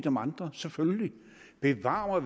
om andre selvfølgelig bevar